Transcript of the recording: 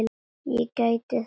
Ég gæti þess.